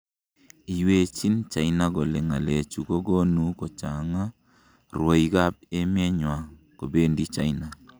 Iywechiin China kole ng'alechu kokonu kochangg'a rwoik ap emeet nywa chebendiChina